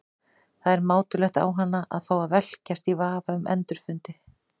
Það er mátulegt á hana að fá að velkjast í vafa um endurfundi.